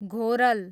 घोरल